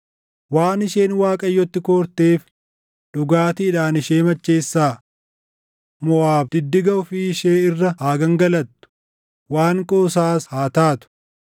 “Waan isheen Waaqayyotti koorteef dhugaatiidhaan ishee macheessaa. Moʼaab diddiga ofii ishee irra haa gangalattu; waan qoosaas haa taatu.